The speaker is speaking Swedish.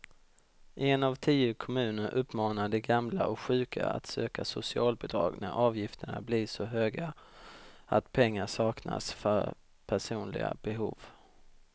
En av tio kommuner uppmanar de gamla och sjuka att söka socialbidrag när avgifterna blir så höga att pengar saknas för personliga behov.